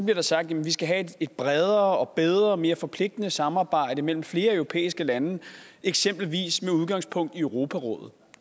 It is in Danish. der sagt at vi skal have et bredere og bedre og mere forpligtende samarbejde mellem flere europæiske lande eksempelvis med udgangspunkt i europarådet